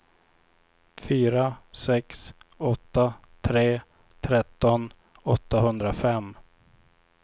fyra sex åtta tre tretton åttahundrafem